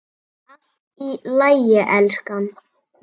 Allt í lagi, elskan.